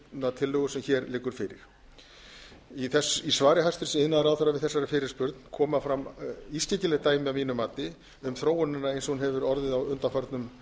þessarar þingsályktunartillögu sem hér liggur fyrir í svari hæstvirts iðnaðarráðherra við þessari fyrirspurn koma fram ískyggileg dæmi að mínu mati um þróunina eins og hún hefur orðið á undanförnum